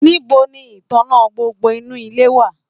Nibo ní ìtàná gbogbo inú ilé wà?